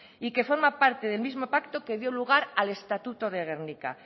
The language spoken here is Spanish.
y que forma parte del mismo pacto que dio lugar al estatuto de gernika